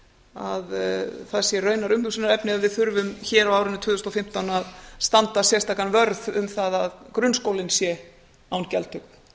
að það sé raunar umhugsunarefni að við þurfum hér á árinu tvö þúsund og fimmtán að standa sérstakan vörð að grunnskólinn sé án gjaldtöku